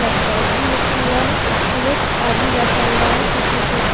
Top भी रखा हुआ है और एक आदमी बैठा हुआ है कुर्सी के ऊपर।